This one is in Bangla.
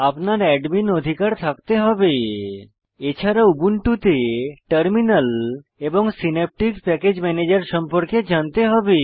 আপনার অ্যাডমীন অধিকার থাকতে হবে এছাড়া উবুন্টুতে টার্মিনাল এবং সিন্যাপটিক প্যাকেজ ম্যানেজার সম্পর্কে জানতে হবে